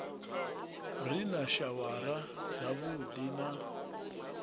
re na shawara dzavhuddi na